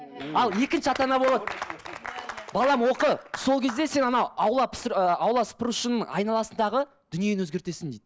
ал екінші ата ана болады балам оқы сол кезде сен анау аула ы аула сыпырушының айналасындағы дүниені өзгертесің дейді